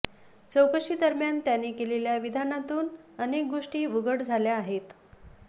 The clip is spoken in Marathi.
चौकशीदरम्यान त्याने केलेल्या विधानातून अनेक गोष्टी उघड झाल्या आहेत